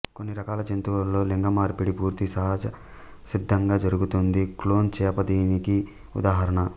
కొన్ని రకాల జంతువులలో లింగమార్పిడి పూర్తి సహజసిద్దంగా జరుగుతుంది క్లోన్ చేప దీనికి ఉదాహరణ